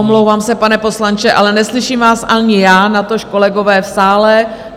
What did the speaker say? Omlouvám se, pane poslanče, ale neslyším vás ani já, natož kolegové v sále.